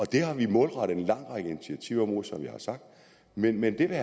det har vi målrettet en lang række initiativer mod som jeg har sagt men men det vil